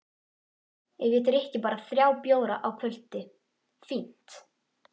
Ef ég drykki bara þrjá bjóra á kvöldi, fínt!